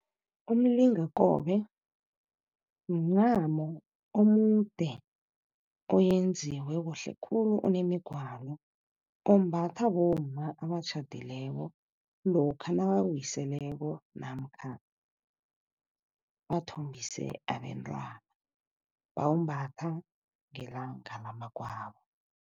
Umlingakobe mncamo omude oyenziwe kuhle khulu onemigwalo. Ombathwa bomma abatjhadileko lokha nabawiseleko namkha bathombise abentwana, bawumbatha ngelanga lamagwabo.